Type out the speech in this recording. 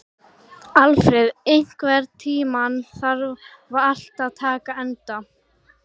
Alfreð, einhvern tímann þarf allt að taka enda.